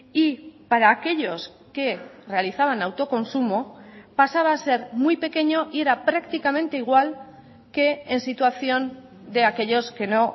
y para aquellos que realizaban autoconsumo pasaba a ser muy pequeño y era prácticamente igual que ensituación de aquellos que no